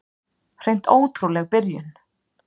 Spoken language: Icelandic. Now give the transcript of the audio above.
Hreint ótrúleg byrjun.